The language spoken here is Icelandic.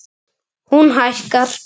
Heimir: Hún hækkar?